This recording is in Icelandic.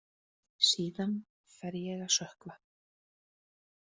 Síðan fer ég að sökkva.